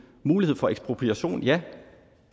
mulighed for ekspropriation ja